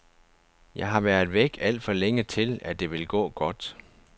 Jeg har været væk alt for længe til, at det vil gå godt.